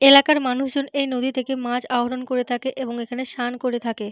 এলাকার মানুষজন এই নদী থেকে মাছ আহরণ করে থাকে এবং এখানে স্নান করে থাকে।